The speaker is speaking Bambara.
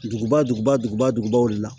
Duguba duguba duguba dugubaw de la